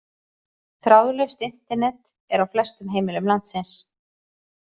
Þráðlaust Internet er á flestum heimilum landsins.